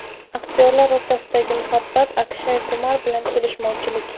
Aktyorlar o‘rtasidagi muhabbat, Akshay Kumar bilan kelishmovchilik.